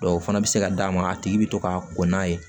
o fana bɛ se ka d'a ma a tigi bɛ to ka koko n'a ye